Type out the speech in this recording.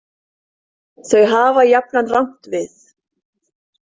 Þau hafa jafnan rangt við.